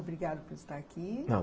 Obrigada por estar aqui. Não.